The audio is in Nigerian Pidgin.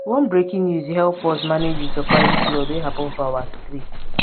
one breaking news help us manage di surprise flood wey happen for our street